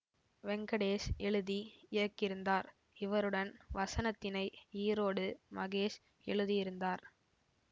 வெங்கடேஷ் எழுதி இயக்கியிருந்தார் இவருடன் வசனத்தினை ஈரோடு மகேஷ் எழுதியிருந்தார்